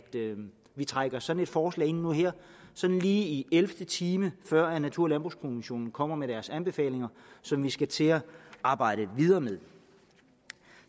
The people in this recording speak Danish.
vi trækker sådan et forslag ind nu her sådan lige i ellevte time før natur og landbrugskommissionen kommer med deres anbefalinger som vi skal til at arbejde videre med